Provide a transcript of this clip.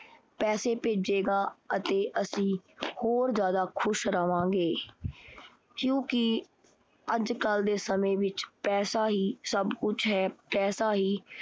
ਪੈਸੇ ਭੇਜੇਗਾ ਅਤੇ ਅਸੀਂ ਹੋਰ ਜ਼ਿਆਦਾ ਖੁਸ਼ ਰਵਾਂਗੇ ਕਿਉਂਕਿ ਅੱਜ ਕਲ ਦੇ ਮਸੇ ਵਿੱਚ ਪੈਸਾ ਹੀ ਸਭ ਕੁਝ ਹੈ, ਪੈਸਾ ਹੀ